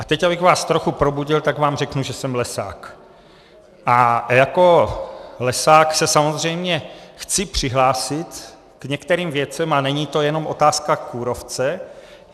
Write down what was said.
A teď abych vás trochu probudil, tak vám řeknu, že jsem lesák, a jako lesák se samozřejmě chci přihlásit k některým věcem a není to jenom otázka kůrovce.